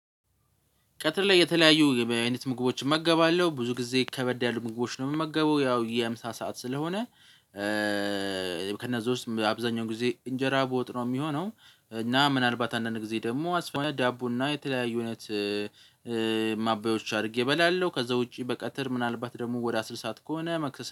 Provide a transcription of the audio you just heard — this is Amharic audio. ቀትር ላይ የተለያዩ አይነት ምግቦችን እመገባለሁ ብዙ ጊዜ ከበድ ያሉ ምግቦችን ነው የምመገበው ያው የምሳ ሰዓት ስለሆነ። ከእነዚያ ውስጥ አብዛኛውን ጊዜ እንጀራ በወጥ ነው የሚሆነው እና ምናልባት አንዳንድ ጊዜ ደግሞ አስፈላጊ ሲሆን ዳቦና የተለያዩ አይነት ማባያዎች አድርጌ እበላለሁ። ከዛ ውጪ በቀትር ምናልባት ደግሞ ወደ አስልሳት ከሆነ መክሰስ